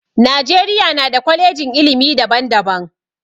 Najeriya na da kwalejin ilimi daban daban